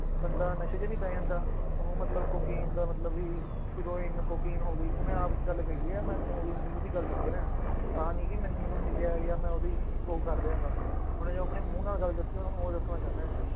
ਬੰਦੇ ਨਸ਼ੇ 'ਚ ਨੀ ਪੈ ਜਾਂਦਾ, ਉਹਨੂੰ ਮਤਲਬ ਕੋਕੇਨ ਦਾ ਮਤਲਬ ਵੀ ਹੀਰੋਇਨ ਕੋਕੇਨ ਹੋ ਗਈ ਉਹਨੇ ਆਪ ਗੱਲ ਕਹੀ ਹੈ ਮੈਂ ਤੁਹਾਨੂੰ ਉਹਦੀ ਮੂੰਹ ਦੀ ਗੱਲ ਦੱਸ ਰਿਹਾਂ, ਆਹ ਨੀ ਕਿ ਮੈਨੂੰ ਮੈਨੂੰ ਮਿਲਿਆ ਜਾਂ ਮੈਂ ਉਹਦੀ ਉਹ ਕਰ ਰਿਹਾਂ ਗਾ, ਉਹਨੇ ਜੋ ਆਪਣੇ ਮੂੰਹ ਨਾਲ ਗੱਲ ਦੱਸੀ ਆ, ਤੁਹਾਨੂੰ ਉਹ ਦੱਸਣਾ ਚਾਹਨਾ ਹੈ।